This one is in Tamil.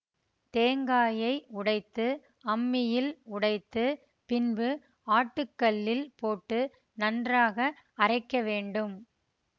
தேங்காயை உடைத்து அம்மியில் உடைத்து பின்பு ஆட்டுக்கல்லில் போட்டு நன்றாக அறைக்க வேண்டும்